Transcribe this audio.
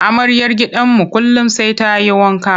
Amaryar gidanmu kullum sai ta yi wanka.